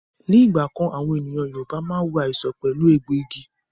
Ní ìgbà kan, àwọn ènìyàn Yorùbá máa ń wo àìsàn pẹ̀lú egbòogi